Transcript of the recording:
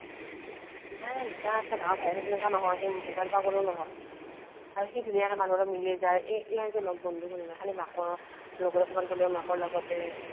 নাই দুটা আছে ডাঙৰ ভায়েকটো সেনেকুৱা নহয় সি মোবাইল পাগলো নহয় আৰু সি ধুনীয়াকে মানুহৰ লগত মিলি যায় এ ইয়াৰ যে লগ বন্ধুবোৰ নাই খালি মাকৰ লগত কৰবাত গলেও মাকৰ লগতে